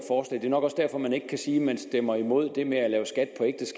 nok også derfor man ikke kan sige at man stemmer imod det med